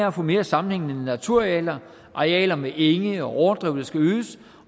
at få mere sammenhængende naturarealer arealer med enge og overdrev der skal øges